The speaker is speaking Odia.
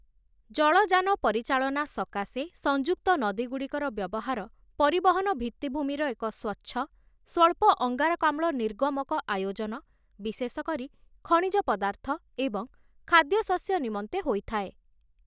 ଜଳଯାନ ପରିଚାଳନା ସକାଶେ ସଂଯୁକ୍ତ ନଦୀଗୁଡ଼ିକର ବ୍ୟବହାର ପରିବହନ ଭିତ୍ତିଭୂମିର ଏକ ସ୍ୱଚ୍ଛ, ସ୍ୱଳ୍ପ ଅଙ୍ଗାରକାମ୍ଳ ନିର୍ଗମକ ଆୟୋଜନ, ବିଶେଷ କରି ଖଣିଜ ପଦାର୍ଥ ଏବଂ ଖାଦ୍ୟଶସ୍ୟ ନିମନ୍ତେ ହୋଇଥାଏ ।